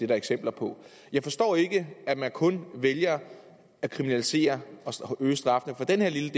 der eksempler på jeg forstår ikke at man kun vælger at kriminalisere og øge straffen for den her lille